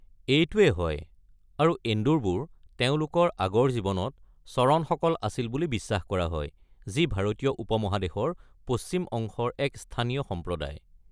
এইটোৱে হয়, আৰু এন্দুৰবোৰ তেওঁলোকৰ আগৰ জীৱনত চৰণসকল আছিল বুলি বিশ্বাস কৰা হয়, যি ভাৰতীয় উপমহাদেশৰ পশ্চিম অংশৰ এক স্থানীয় সম্প্ৰদায়।